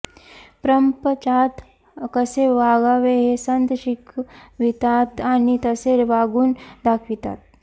प्रपंचात कसे वागावे हे संत शिकवितात आणि तसे वागून दाखवितात